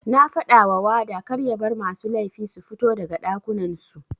Nafadawa wada karya bar masu laifi sufito daga ɗakunan su.